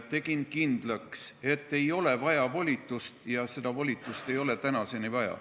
Tegin kindlaks, et ei ole vaja volitust, ja seda volitust ei ole tänaseni vaja.